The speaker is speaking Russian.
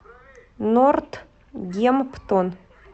нортгемптон